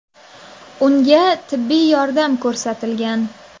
Unga tibbiy yordam ko‘rsatilgan.